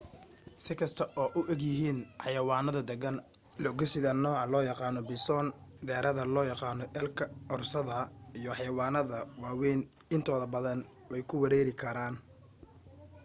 si kasta oo ay u egyihiin xayawaano deggan lo'gisida nooca loo yaqaano bison deerada loo yaqaano elk oorsada iyo xayawaanadda waa wayn intooda badan wey ku weeraari karaan